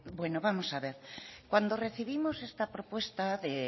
bueno vamos a ver cuando recibimos esta propuesta de